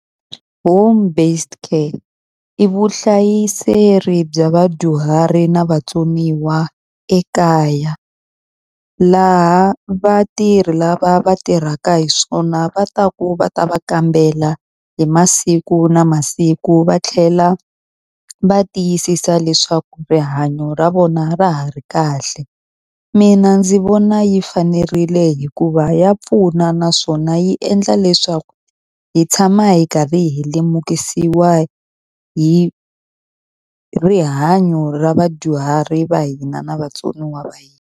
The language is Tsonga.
Home-based care i vuhlayiseri bya vadyuhari na vatsoniwa ekaya, laha vatirhi lava va tirhaka hi swona va taku va ta va kambela hi masiku na masiku va tlhela va tiyisisa leswaku rihanyo ra vona ra ha ri kahle. Mina ndzi vona yi fanerile hikuva ya pfuna naswona yi endla leswaku hi tshama hi karhi hi lemukisiwa hi rihanyo ra vadyuhari va hina na vatsoniwa va hina.